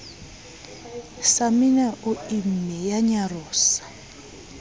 samina o imme ya nyarosa